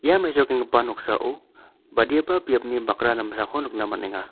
ia mesokenggipa noksao badiaba biapni bakra damsako nikna man·enga.